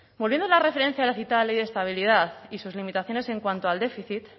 volviendo a la referencia de la citada ley de estabilidad y sus limitaciones en cuanto al déficit